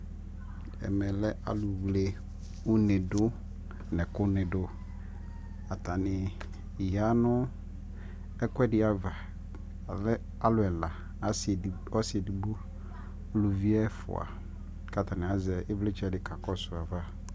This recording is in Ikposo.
ɛmɛ lɛ alʋ wlɛ ʋnɛ nʋ ɛkʋ nidʋ, atani yanʋ ɛkʋɛdi aɣa, ɔlɛ alʋ ɛla, ɔsii ɛdigbɔ nʋ ʋlʋvi ɛƒʋa kʋ atani azɛ ivlitsɛ di kakɔsʋ aɣa